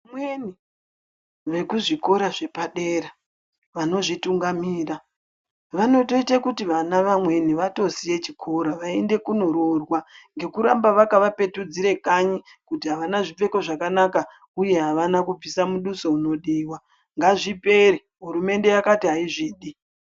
Vamweni vekuzvikora zvepadera vanozvitungamira vanotoite kuti vana vamweni vatosiye chikora vaende konoroorwa ngekuramba vakavapetudzire kanyi kuti havana zvipfeko zvakanaka uye havana kubvisa muduso unodiwa. Ngazvipere, hurumende yakati haizvidi.